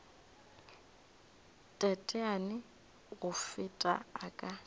teteane go feta a ka